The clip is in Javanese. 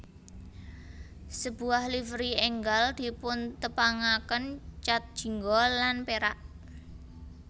Sebuah livery enggal dipuntepangaken cat jingga lan perak